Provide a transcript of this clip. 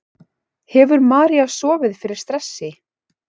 Hefur María sofið fyrir stressi?